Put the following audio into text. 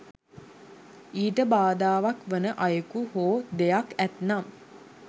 ඊට බාධාවක් වන අයෙකු හෝ දෙයක් ඇත්නම්